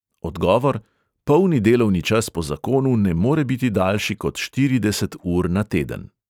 Odgovor: polni delovni čas po zakonu ne more biti daljši kot štirideset ur na teden.